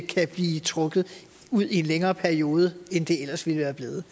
kan blive trukket ud i en længere periode end det ellers ville have været